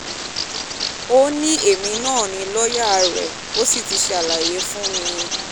ó ní èmi ni lọ́ọ́yà rẹ̀ ó sì ti ṣàlàyé fún mi